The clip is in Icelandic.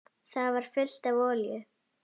Það var fullt af olíu.